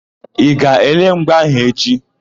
Ị ga-ele mgba áhụ̀ echi?